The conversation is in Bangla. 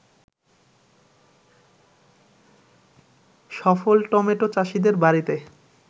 সফল টমেটো চাষিদের বাড়িতে